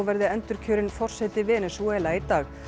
verði endurkjörinn forseti Venesúela í dag